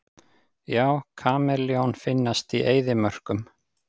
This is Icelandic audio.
Já, kameljón finnast í eyðimörkum.